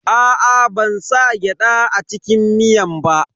Aa, ban sa gyada a cikin miyan ba.